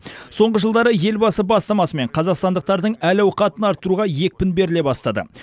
соңғы жылдары елбасы бастамасымен қазақстандықтардың әл ауқатын арттыруға екпін беріле бастады